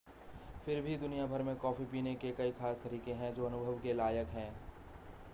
फिर भी दुनिया भर में कॉफी पीने के कई खास तरीके हैं जो अनुभव के लायक हैं